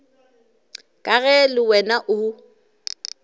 ka ge le wena o